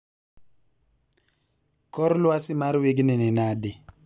kor lwasi mar wigni ni nadi